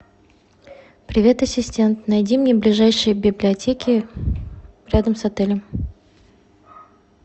привет ассистент найди мне ближайшие библиотеки рядом с отелем